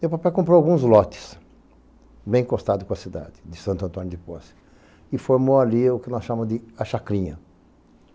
Meu papai comprou alguns lotes bem encostados com a cidade de Santo Antônio de Poce e formou ali o que nós chamamos de A Chacrinha.